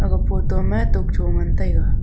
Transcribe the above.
a photo ma tokcho ngan taiga.